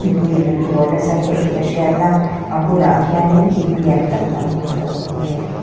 puiin an dawr nasa hle tih a hriat a a bulah khianin in lian tâk dang pakhat a awm bawk ani.